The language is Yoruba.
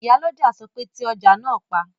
Ìyálọ́jà sọ pé "ti ọjà náà pa!"